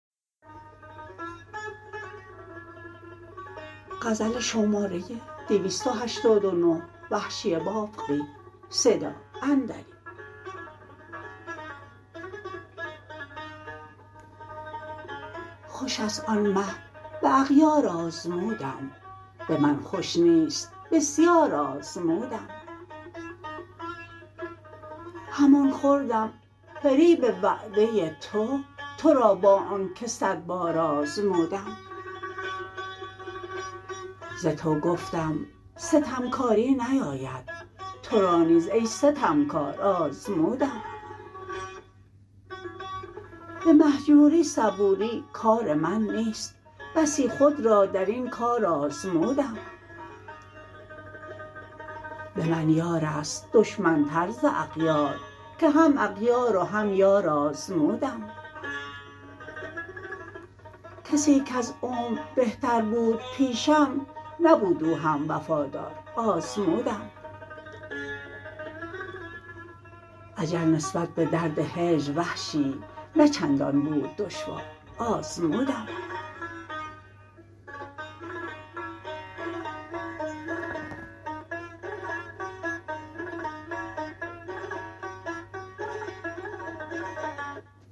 خوشست آن مه به اغیار آزمودم به من خوش نیست بسیار آزمودم همان خوردم فریب وعده تو ترا با آنکه سد بار آزمودم ز تو گفتم ستمکاری نیاید ترا نیز ای ستمکار آزمودم به مهجوری صبوری کار من نیست بسی خود را در این کار آزمودم به من یار است دشمن تر ز اغیار که هم اغیار و هم یار آزمودم کسی کز عمر بهتر بود پیشم نبود او هم وفادار آزمودم اجل نسبت به درد هجر وحشی نه چندان بود دشوار آزمودم